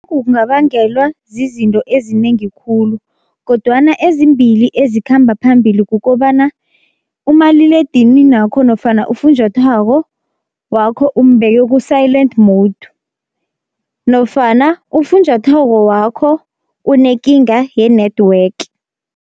Kungabangelwa zizinto ezinengi khulu, kodwana ezimbili ezikhamba phambili kukobana umaliledinini wakho nofana ufunjathwako wakho umbeke ku-silent mode, nofana ufunjathwako wakho unekinga ye-network.